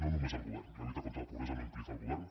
no només el govern la lluita contra la pobresa no implica el govern